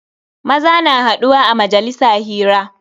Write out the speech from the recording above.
Maza na haduwa a majalisa hira.